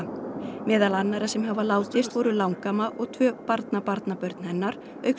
meðal annarra sem hafa látist voru langamma og tvö barnabarnabörn hennar auk